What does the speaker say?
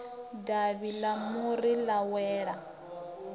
davhi ḽa muri ḽa wela